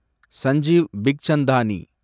Sanjeev Bikchandani